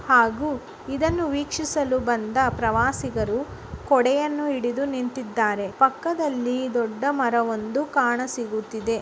ಹಾಗು ಇದನ್ನು ವೀಕ್ಷಿಸಲು ಬಂದ ಪ್ರವಾಸಿಗರು ಕೊಡೆಯನ್ನು ಹಿಡಿದು ನಿಂತಿದ್ದಾರೆ. ಪಕ್ಕದಲ್ಲಿ ದೊಡ್ಡ ಮರವೊಂದು ಕಾಣಿಸುತ್ತಿದೆ.